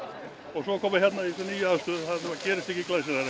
svo að koma hérna í þessa nýju aðstöðu þetta gerist ekki glæsilegra